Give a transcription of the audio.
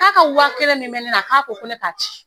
K'a ka wa kelen min bɛ ne na k'a ko ko ne k'a ci